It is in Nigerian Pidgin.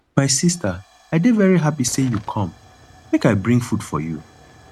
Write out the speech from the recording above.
my sister i dey very happy say you come make i bring food for you